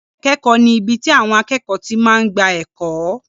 Yàrá ìkẹ́kọ̀ọ́ ni ibi tí àwọn akẹ́kọ̀ọ́ ti máa ń gba ẹ̀kọ́.